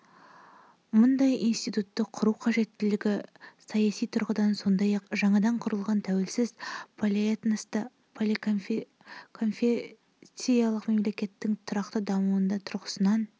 мұндай институтты құру қажеттілігі саяси тұрғыдан сондай-ақ жаңадан құрылған тәуелсіз полиэтносты поликонфессиялық мемлекеттің тұрақты дамуы тұрғысынан